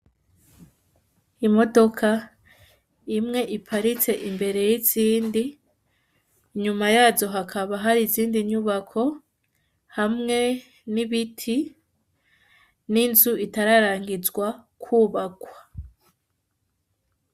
Imodoka imwe iparitse imbere yizindi, inyuma yazo hakaba hari izindi nyubako hamwe n'ibiti, n'inzu itararangizwa kubakwa.